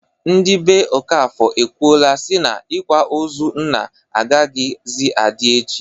Ndị be Okafọr ekwuola si na ikwa ozu nna agaghịzi adị echi.